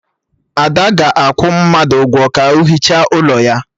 Ada ga-akwụ mmadụ ụgwọ ka o hichaa ụlọ ya